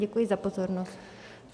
Děkuji za pozornost.